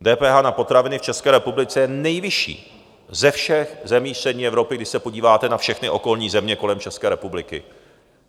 DPH na potraviny v České republice je nejvyšší ze všech zemí střední Evropy, když se podíváte na všechny okolní země kolem České republiky.